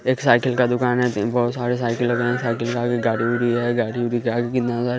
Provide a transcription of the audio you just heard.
एक साइकिल का दुकान है बहुत सारे साइकिल लगे है साइकिल का भी गाड़ी उड़ी है गाड़ी उड़ी के आगे कितना सारा --